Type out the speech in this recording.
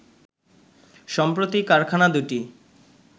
সম্প্রতি কারখানা দুটি